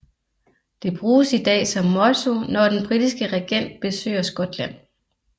Det bruges i dag som motto når den britiske regent besøger Skotland